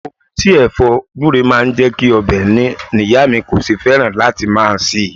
Omi tí Ẹ̀fọ́ gbure máa ń jẹ́ kí ọbẹ̀ ní ni ìyá mi kò ṣe fẹ́ràn láti máa se é.